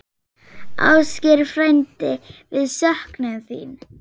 Ásgeir frændi, við söknum þín.